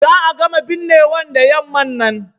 Za a gama binnewan da yamman nan.